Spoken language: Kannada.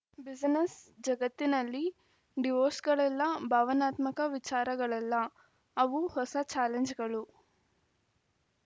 ಬಿಸಿನೆಸ್‌ ಜಗತ್ತಿನಲ್ಲಿ ಡಿವೋರ್ಸ್‌ಗಳೆಲ್ಲ ಭಾವನಾತ್ಮಕ ವಿಚಾರಗಳಲ್ಲ ಅವು ಹೊಸ ಚಾಲೆಂಜ್‌ಗಳು